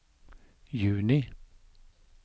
juni